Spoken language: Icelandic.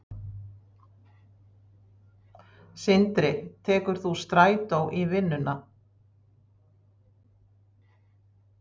Sindri: Tekur þú strætó í vinnuna?